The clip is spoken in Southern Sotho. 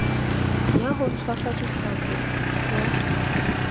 ya ho tshwasa dihlapi o